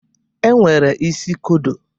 E nwere isi kodo.